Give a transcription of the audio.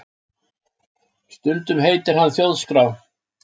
Stundum heitir hann Þjóðskrá